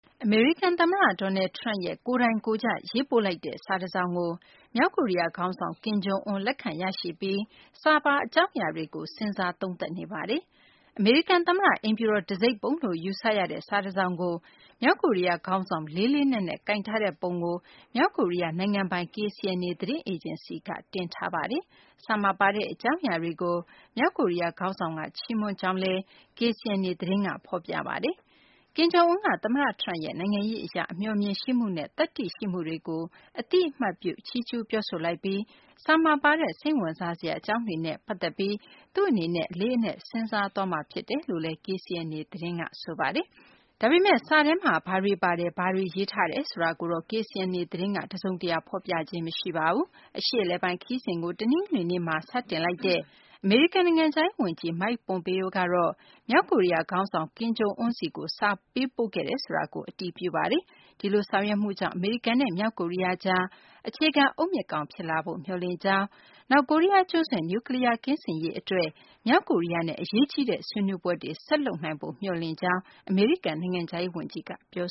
အမေရိကန် သမ္မတ Donald Trump ရဲ့ ကိုယ်တိုင်ကိုယ်ကျ ရေးပို့လိုက်တဲ့ စာတစောင်ကို မြောက်ကိုရီးယား ခေါင်းဆောင် ကင်ဂျုံအွန်း လက်ခံရရှိပြီး စာပါ အကြောင်းအရာတွေကို စဉ်းစား သုံးသပ်နေပါတယ်။ အမေရိကန်သမ္မတ အိမ်ဖြူတော် တံဆိပ်ပုံလို့ ယူဆရတဲ့ စာတစောင်ကို မြောက်ကိုရီးယား ခေါင်းဆောင် လေးလေးနက်နက် ကိုင်ထားတဲ့ ပုံကို မြောက်ကိုရီးယား နိုင်ငံပိုင် KCNA သတင်းအေဂျင်စီက တင်ထားပါတယ်။ စာမှာပါတဲ့ အကြောင်းအရာတွေကို မြောက်ကိုရီးယား ခေါင်းဆောင်က ချီးမွမ်းကြောင်းလည်း KCNA သတင်းမှာ ဖော်ပြထားပါတယ်။ ကင်ဂျုံအွန်းက သမ္မတထရမ့်ရဲ့ နိုင်ငံရေးအရ အမျှော်အမြင်ရှိမှုနဲ့ သတ္တိရှိမှုတွေကို အသိအမှတ်ပြု ချီးကျူးပြောဆိုလိုက်ပြီး စာမှာပါတဲ့ စိတ်ဝင်စားစရာ အကြောင်းတွေနဲ့ ပတ်သက်ပြီး သူ့အနေနဲ့ အလေးအနက် စဉ်းစားသွားမှာ ဖြစ်တယ်လို့ KCNA သတင်းက ဆိုပါတယ်။ ဒါပေမဲ့ စာထဲမှာ ဘာတွေပါတယ် ဘာတွေရေးထားတယ် ဆိုတာကိုတော့ KCNA သတင်းက တစုံတရာ ဖော်ပြခြင်းတော့ မရှိပါဘူး။ အရှေ့အလယ်ပိုင်း ခရီးစဉ်ကို တနင်္ဂနွေနေ့မှာ စတင်လိုက်တဲ့ အမေရိကန် နိုင်ငံခြားရေး ဝန်ကြီး Mike Pompeo ကတော့ မြောက်ကိုရီးယား ခေါင်းဆောင် ကင်ဂျုံအွန်းဆီကို စာပေးပို့ခဲ့တယ်ဆိုတာကို အတည်ပြု ပြောဆိုခဲ့ပါတယ်။ ဒီလိုဆောင်ရွက်မှုကြောင့် အမေရိကန်နဲ့ မြောက်ကိုရီးယားကြား အခြေခံ အုတ်မြစ်ကောင်း ဖြစ်လာဖို့ မျှော်လင့်ကြောင်း၊ နောက် ကိုရီးယား ကျွန်းဆွယ် နျူးကလီးယား ကင်းစင်ရေးအတွက် မြောက်ကိုရီးယားနဲ့ အရေးကြီးတဲ့ ဆွေးနွေးပွဲတွေ ဆက်လုပ်နိုင်ဖို့ မျှော်လင့်ကြောင်း အမေရိကန် နိုင်ငံခြားရေးဝန်ကြီးက ပြော